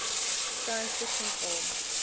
science fiction film